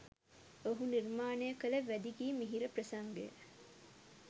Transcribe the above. ඔහු නිර්මාණය කළ වැදි ගී මිහිර ප්‍රසංගය